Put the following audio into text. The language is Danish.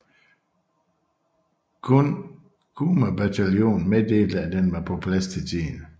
Kun Kumabataljonen meddelte at den var på plads til tiden